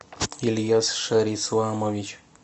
ильяс шарисламович